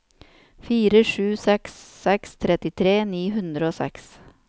fire sju seks seks trettitre ni hundre og seks